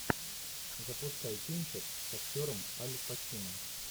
запускай кинчик с актером аль пачино